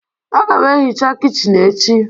Aga m ehicha kichin echi